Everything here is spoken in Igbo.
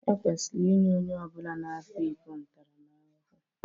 Ekwesịrị inye onye ọ bụla na-akwa iko ntaramahụhụ